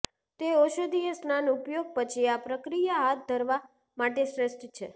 તે ઔષધીય સ્નાન ઉપયોગ પછી આ પ્રક્રિયા હાથ ધરવા માટે શ્રેષ્ઠ છે